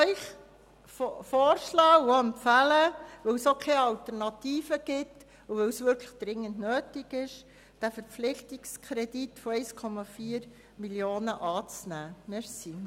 Ich möchte Ihnen empfehlen, den Verpflichtungskredit von 1,4 Mio. Franken anzunehmen, weil die Sanierung dringend nötig ist und es keine Alternativen gibt.